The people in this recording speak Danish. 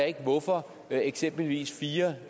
ikke hvorfor eksempelvis fire